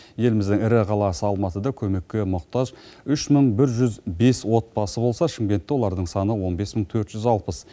еліміздің ірі қаласы алматыда көмекке мұқтаж үш мың бір жүз бес отбасы болса шымкентте олардың саны он бес мың төрт жүз алпыс